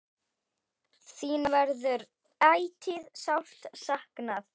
Þín verður ætíð sárt saknað.